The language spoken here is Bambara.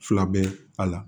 Fila bɛ a la